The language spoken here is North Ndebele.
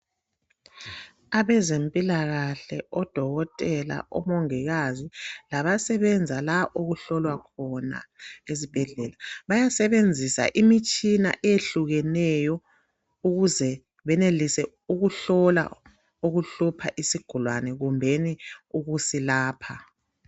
Abezempilakahle, odokotela, omongikazi labasebenza la okuhlolwa khona esibhedlela, bayasebenzisa imitshina eyehlukeneyo ukuze benelise ukuhlola okuhlupha isigulane, kumbeni ukuzilapha.